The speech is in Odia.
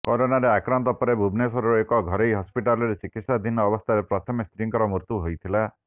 କରୋନାରେ ଆକ୍ରାନ୍ତ ପରେ ଭୁବନେଶ୍ୱରର ଏକ ଘରୋଇ ହସ୍ପିଟାଲ୍ରେ ଚିକିତ୍ସାଧୀନ ଅବସ୍ଥାରେ ପ୍ରଥମେ ସ୍ତ୍ରୀଙ୍କ ମୃତ୍ୟୁ ହୋଇଥିଲା